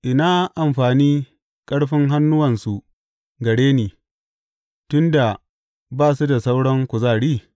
Ina amfani ƙarfin hannuwansu gare ni, tun da ba su da sauran kuzari?